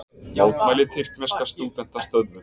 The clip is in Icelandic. Mótmæli tyrkneska stúdenta stöðvuð